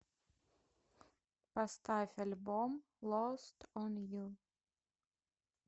поставь альбом лост он ю